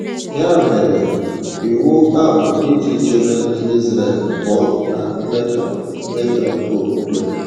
Ya mere, iwu a bụ iji chebe Ndị Israel pụọ na mmetọ mmetọ okpukpe.